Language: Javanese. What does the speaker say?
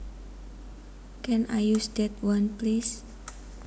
Can I use that one please